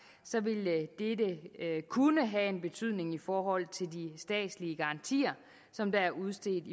ville dette kunne have en betydning i forhold til de statslige garantier som er udstedt